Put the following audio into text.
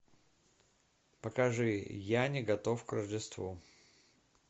покажи я не готов к рождеству